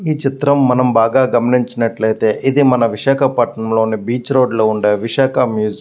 ఈ చిత్రం మనం బాగా గమనించినట్లయితే ఇది మన విశాఖపట్నంలోని బీచ్ రోడ్ లో ఉండే విశాఖ మ్యూజియం .